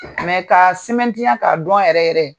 Mɛ k'a semɛtiya ka dɔn yɛrɛ yɛrɛ.